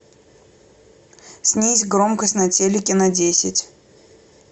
снизь громкость на телике на десять